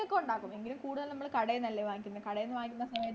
ക്കൊ ഉണ്ടാക്കും എങ്കിലും കൂടുതലും നമ്മള് കടയിൽന്നു അല്ലെ വാങ്ങിക്കുന്നെ കടേന്നു വാങ്ങിക്കുമ്പോ